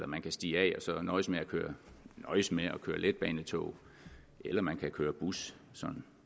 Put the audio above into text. man kan stige af og så nøjes med at køre letbanetog eller man kan køre bus